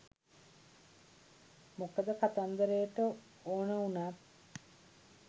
මොකද කතන්දරට ඕන උනත්